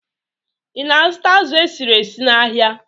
Ị na-azụta azụ̀ esiri esi n'ahịa?